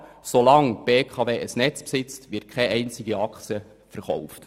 Solange die BKW ein Netz besitzt, wird keine einzige Aktie verkauft!